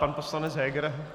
Pan poslanec Heger.